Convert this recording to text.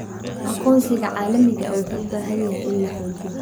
Aqoonsiga caalamiga ah wuxuu u baahan yahay in la xoojiyo.